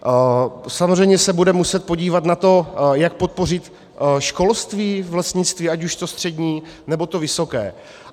Samozřejmě se budeme muset podívat na to, jak podpořit školství v lesnictví, ať už to střední, nebo to vysoké.